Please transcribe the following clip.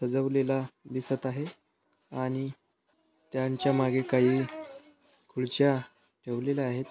सजावलेला दिसत आहे आणि त्यांच्या मागे काही खुर्च्या ठेवलेले आहेत.